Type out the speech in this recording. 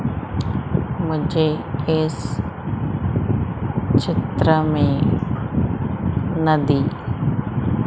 मुझे इस चित्र में नदी--